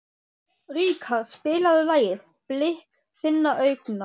Ríkharð, spilaðu lagið „Blik þinna augna“.